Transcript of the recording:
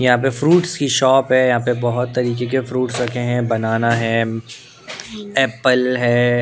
यहाँ पे फ्रूट्स की शॉप हैं यहाँ पे बहुत तरीके के फ्रूट्स रखे हैं बनाना हैं एप्पल हैं ।